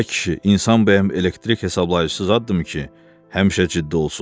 Ay kişi, insan bəyəm elektrik hesablayıcısız addım ki, həmişə ciddi olsun?